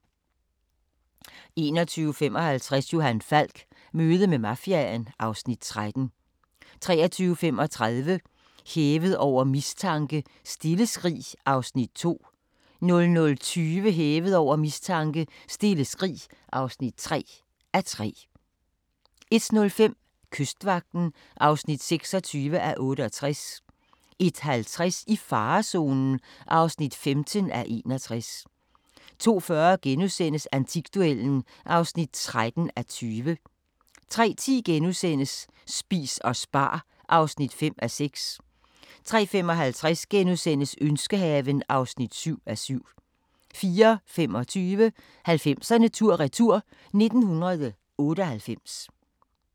21:55: Johan Falk: Møde med mafiaen (Afs. 13) 23:35: Hævet over mistanke: Stille skrig (2:3) 00:20: Hævet over mistanke: Stille skrig (3:3) 01:05: Kystvagten (26:68) 01:50: I farezonen (15:61) 02:40: Antikduellen (13:20)* 03:10: Spis og spar (5:6)* 03:55: Ønskehaven (7:7)* 04:25: 90'erne tur-retur: 1998